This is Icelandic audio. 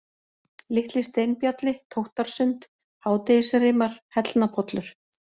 Litli-Steinbjalli, Tóttarsund, Hádegisrimar, Hellnapollur